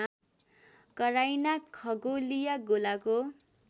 कराइना खगोलीय गोलाको